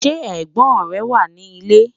Sẹ́ ẹ̀gbón rẹ̀ wà ni ilẹ̀?